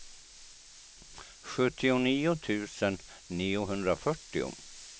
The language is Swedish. sjuttionio tusen niohundrafyrtio